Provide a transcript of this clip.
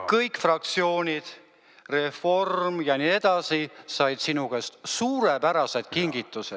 Kõik fraktsioonid, reform ja nii edasi, said sinu käest suurepärased kingitused.